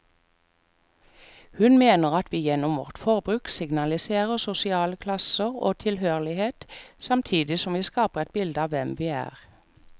Hun mener at vi gjennom vårt forbruk signaliserer sosial klasse og tilhørighet, samtidig som vi skaper et bilde av hvem vi er.